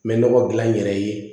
N bɛ nɔgɔ gilan n yɛrɛ ye